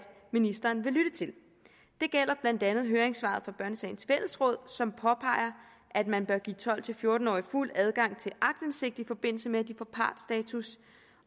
ministeren vil lytte til det gælder blandt andet høringssvaret fra børnesagens fællesråd som påpeger at man bør give tolv til fjorten årige fuld adgang til aktindsigt i forbindelse med at de får partsstatus